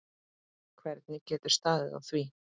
Hvernig getur staðið á því?